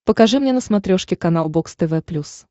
покажи мне на смотрешке канал бокс тв плюс